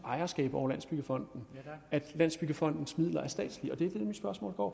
ejerskab over landsbyggefonden at landsbyggefondens midler er statslige og det mit spørgsmål går